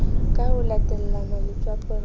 ka ho latellane letswapong la